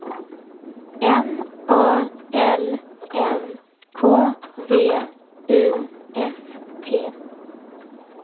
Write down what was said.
M A L M K V I S T